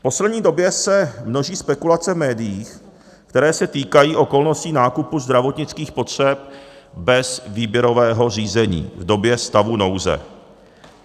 V poslední době se množí spekulace v médiích, které se týkají okolností nákupu zdravotnických potřeb bez výběrového řízení v době stavu nouze.